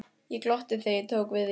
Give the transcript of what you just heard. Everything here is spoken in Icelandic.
Ég glotti þegar ég tók við því.